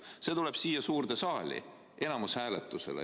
Siis see tuleb siia suurde saali enamushääletusele.